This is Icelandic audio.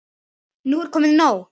Nú er komið nóg!